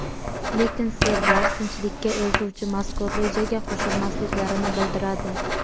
Lekin serblar tinchlikka eltuvchi mazkur rejaga qo‘shilmasliklarini bildiradi.